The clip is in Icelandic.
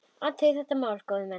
Athugið þetta mál, góðir menn!